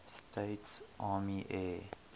states army air